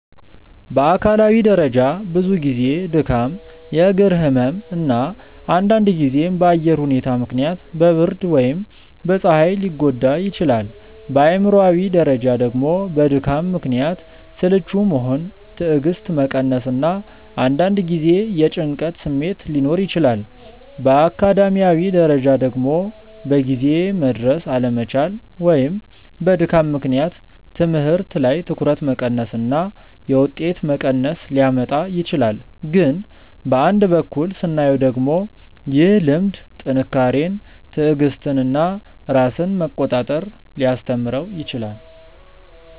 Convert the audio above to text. በአካላዊ ደረጃ ብዙ ጊዜ ድካም፣ የእግር ህመም እና አንዳንድ ጊዜም በአየር ሁኔታ ምክንያት በብርድ ወይም በፀሐይ ሊጎዳ ይችላል። በአእምሯዊ ደረጃ ደግሞ በድካም ምክንያት ስልቹ መሆን፣ ትዕግስት መቀነስ እና አንዳንድ ጊዜ የጭንቀት ስሜት ሊኖር ይችላል። በአካዳሚያዊ ደረጃ ደግሞ በጊዜ መድረስ አለመቻል ወይም በድካም ምክንያት ትምህርት ላይ ትኩረት መቀነስ እና የውጤት መቀነስ ሊያመጣ ይችላል። ግን በአንድ በኩል ስናየው ደግሞ ይህ ልምድ ጥንካሬን፣ ትዕግስትን እና ራስን መቆጣጠር ሊያስተምረው ይችላል